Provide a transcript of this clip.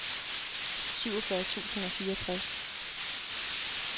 syvogfyrre tusind og fireogtres